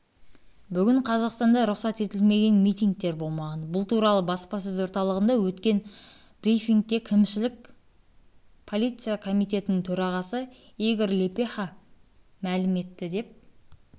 бүгін қазақстанда рұқсат етілмеген митингтер болмаған бұл туралы баспасөз орталығында өткен брифингте кімшілік полиция комитетінің төрағасы игорь лепеха млім етті деп